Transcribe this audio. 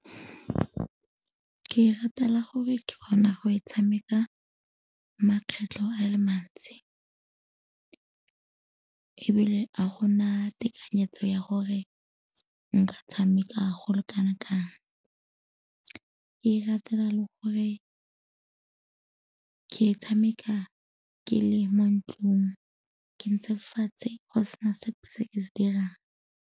Ke e ratela gore ke kgona go e tshameka makgetlho a le mantsi ebile ga gona tekanyetso ya gore nka tshameka go le kana kang. Ke e ratela le gore ke e tshameka ke le mo ntlung, ke ntse fatshe go se na sepe se ke se dirang.